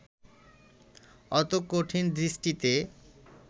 অত কঠিন দৃষ্টিতে